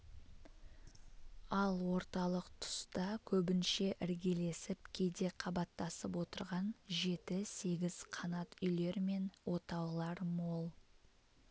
ал орталық тұста көбінше іргелесіп кейде қабаттасып отырған жеті-сегіз қанат үйлер мен отаулар мол